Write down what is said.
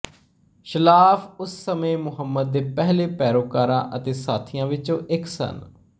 ਸਲਾਫ਼ ਉਸ ਸਮੇਂ ਮੁਹੰਮਦ ਦੇ ਪਹਿਲੇ ਪੈਰੋਕਾਰਾਂ ਅਤੇ ਸਾਥੀਆਂ ਵਿੱਚੋਂ ਇੱਕ ਸਨ